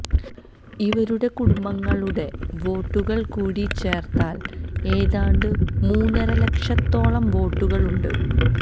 ഇവരുടെ കുടുംബാംഗങ്ങളുടെ വോട്ടുകൾ കൂടി ചേർത്താൽ ഏതാണ്ട് മൂന്നര ലക്ഷത്തോളം വോട്ടുകളുണ്ട്